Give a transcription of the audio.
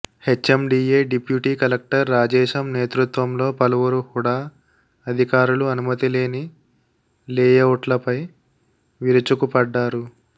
HMDA deputy collector Rajesham నేతృత్వంలో పలువురు HUDA అధికారులు అనుమతి లేని లేఅవుట్లపై విరుచుకుపడ్డారు